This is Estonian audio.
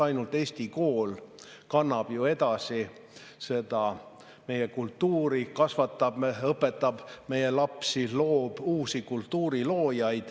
Ainult eesti kool kannab edasi meie kultuuri, kasvatab, õpetab meie lapsi, loob uusi kultuuriloojaid.